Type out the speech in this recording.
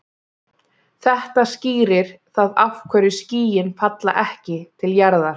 Þetta skýrir það af hverju skýin falla ekki til jarðar.